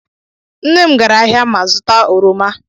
Nne m gara ahịa ma zụta oroma.